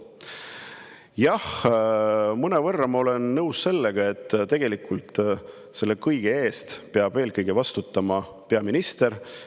Jah, mõnevõrra ma olen nõus, et tegelikult selle kõige eest peab eelkõige vastutama peaminister.